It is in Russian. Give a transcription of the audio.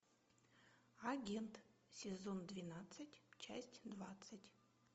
агент сезон двенадцать часть двадцать